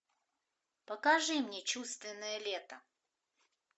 покажи мне чувственное лето